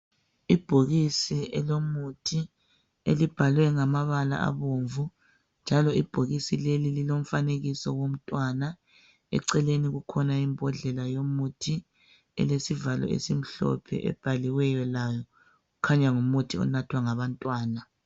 Ibhokisi elomuthi elibhalwe ngamabala abomvu njalo ibhokisi leli lilomfanekiso womntwana eceleni kukhona imbodlela yomuthi elesivalo esimhlophe ebhaliweyo layo kukhanya ngumuthi onathwa ngabantwana.